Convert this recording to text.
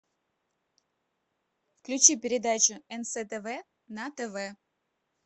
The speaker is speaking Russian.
включи передачу нств на тв